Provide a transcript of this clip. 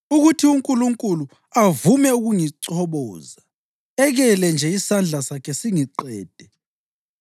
ukuthi uNkulunkulu avume ukungichoboza, ekele nje isandla sakhe singiqede!